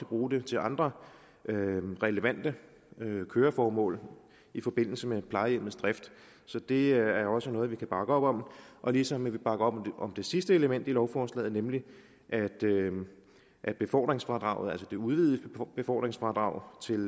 bruge dem til andre relevante køreformål i forbindelse med plejehjemmets drift så det er også noget vi kan bakke op om ligesom vi bakker op om det sidste element i lovforslaget nemlig at at befordringsfradraget altså det udvidede befordringsfradrag til